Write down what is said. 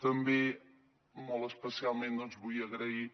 també molt especialment vull agrair